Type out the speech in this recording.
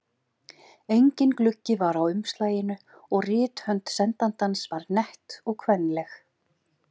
Enginn gluggi var á umslaginu og rithönd sendandans var nett og kvenleg.